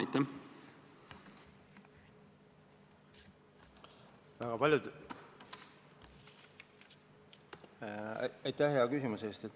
Aitäh hea küsimuse eest!